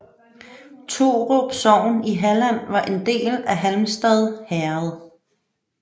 Torup sogn i Halland var en del af Halmstad herred